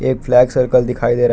एक flat circle दिखाई दे रहा --